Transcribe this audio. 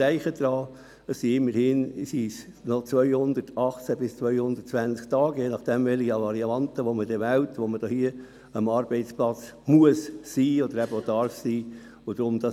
Bedenken Sie, dass es immerhin noch 218 bis 220 Tage sind, an denen man am Arbeitsplatz sein muss oder darf, je nach Variante, die man dann wählt.